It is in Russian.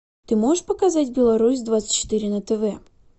ты можешь показать беларусь двадцать четыре на тв